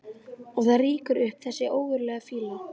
Og það rýkur upp þessi ógurlega fýla.